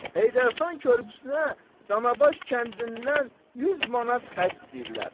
Heydər xan körpüsünə Danabaş kəndindən 100 manat xərc istəyirlər.